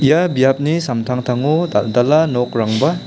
ia biapni samtangtango dal·dala nokrangba--